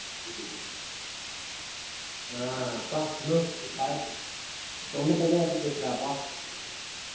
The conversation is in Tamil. ஆஹ் அப்பா இன்னும் ப~ தொண்டை தண்ணியே வத்தி போச்சுடா அப்பா